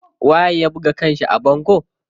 Waye ya buga kanshi a bango?